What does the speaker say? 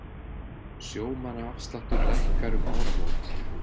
Sjómannaafsláttur lækkar um áramót